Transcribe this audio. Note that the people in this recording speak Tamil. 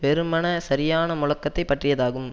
வெறுமனே சரியான முழக்கத்தை பற்றியதாகும்